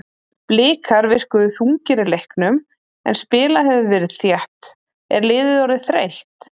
Blikar virkuðu þungir í leiknum en spilað hefur verið þétt, er liðið orðið þreytt?